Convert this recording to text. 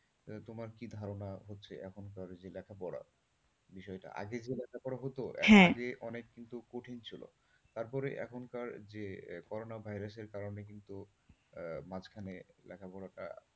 তোমার কি ধারণা আছে যে এখনকার যে লেখাপড়া বিষয়টা মানে আগে যে লেখাপড়া হতো হ্যাঁ আগে কিন্তু অনেক কঠিন ছিল। তারপরে এখনকার যে করোনা ভাইরাসের কারণে কিন্তু আহ মাঝখানে লেখাপড়াটা,